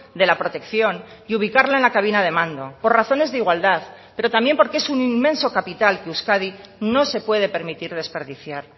de la protección y ubicarla en la cabina de mando por razones de igualdad pero también porque es un inmenso capital que euskadi no se puede permitir desperdiciar